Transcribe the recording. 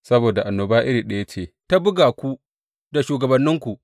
Saboda annoba iri ɗaya ce ta buga ku da shugabanninku.